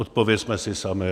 Odpovězme si sami.